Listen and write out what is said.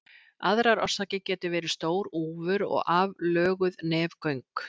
Aðrar orsakir geta verið stór úfur og aflöguð nefgöng.